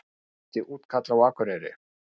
Fjöldi útkalla á Akureyri